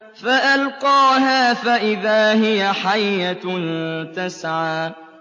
فَأَلْقَاهَا فَإِذَا هِيَ حَيَّةٌ تَسْعَىٰ